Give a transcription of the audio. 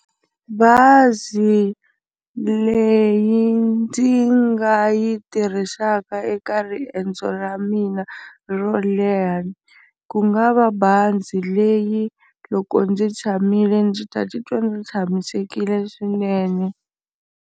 Bazi leyi ndzi nga yi tirhisaka eka riendzo ra mina ro leha ku nga va bazi leyi loko ndzi tshamile ndzi ta titwa ndzi tshamisekile swinene.